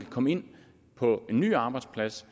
komme ind på en ny arbejdsplads